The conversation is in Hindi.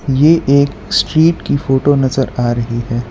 ये एक स्ट्रीट की फोटो नजर आ रही है।